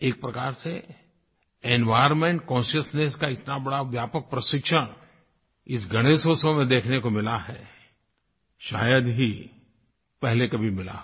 एक प्रकार से एनवायर्नमेंट कॉन्शसनेस का इतना बड़ा व्यापक प्रशिक्षण इस गणेशोत्सव में देखने को मिला है शायद ही पहले कभी मिला हो